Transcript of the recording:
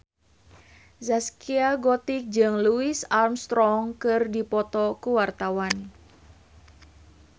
Zaskia Gotik jeung Louis Armstrong keur dipoto ku wartawan